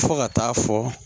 Fo ka taa fɔ